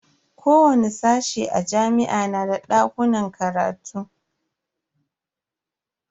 Kowani sashe a jami'a na da dakunan karatu.